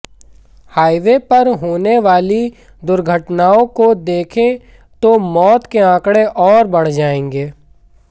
highway पर होने वाली दुर्घटनाओं को देखें तो मौत के आंकड़े अौर बढ़ जाएंगे